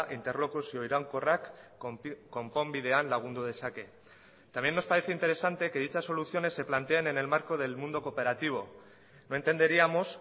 interlokuzio iraunkorrak konponbidean lagundu dezake también nos parece interesante que dicha soluciones se plantean en el marco del mundo cooperativo no entenderíamos